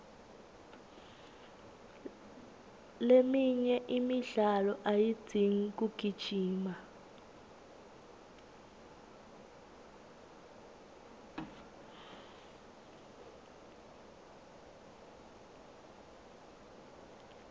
leminye imidlalo ayidzingi kugijima